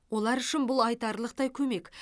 олар үшін бұл айтарлықтай көмек